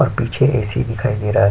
और पीछे एसी दिखाई दे रहा है।